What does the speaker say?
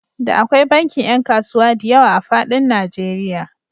Da akwai bankin ƴan kasuwa diyawa a faɗin Najeriya.